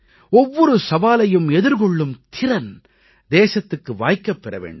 ஒவ்வொரு சவாலையும் எதிர்கொள்ளும் திறன் தேசத்துக்கு வாய்க்கப் பெற வேண்டும்